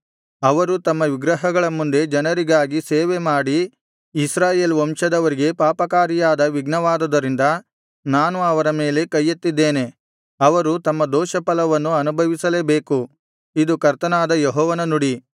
ಅವರು ತಮ್ಮ ವಿಗ್ರಹಗಳ ಮುಂದೆ ಜನರಿಗಾಗಿ ಸೇವೆ ಮಾಡಿ ಇಸ್ರಾಯೇಲ್ ವಂಶದವರಿಗೆ ಪಾಪಕಾರಿಯಾದ ವಿಘ್ನವಾದುದರಿಂದ ನಾನು ಅವರ ಮೇಲೆ ಕೈಯೆತ್ತಿದ್ದೇನೆ ಅವರು ತಮ್ಮ ದೋಷಫಲವನ್ನು ಅನುಭವಿಸಲೇಬೇಕು ಇದು ಕರ್ತನಾದ ಯೆಹೋವನ ನುಡಿ